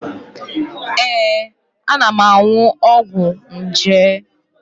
Ee, ana m aṅụ ọgwụ nje.